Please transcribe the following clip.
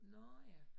Nåh ja